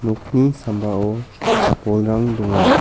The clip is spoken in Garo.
nokni sambao bolrang donga.